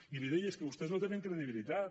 i li deia és que vostès no tenen credibilitat